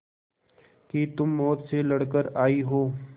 कि तुम मौत से लड़कर आयी हो